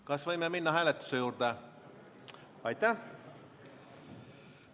Kas võime minna hääletuse juurde?